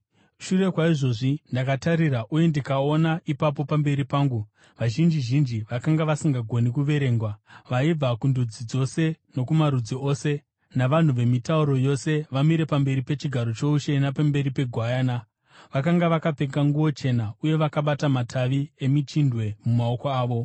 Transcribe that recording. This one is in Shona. Shure kwaizvozvi ndakatarira uye ndikaona ipapo pamberi pangu vazhinji zhinji vakanga vasingagoni kuverengwa, vaibva kundudzi dzose, nokumarudzi ose, navanhu vemitauro yose, vamire pamberi pechigaro choushe napamberi peGwayana. Vakanga vakapfeka nguo chena uye vakabata matavi emichindwe mumaoko avo.